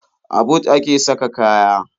A but a ke saka kaya.